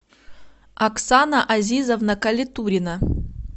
оксана азизовна калетурина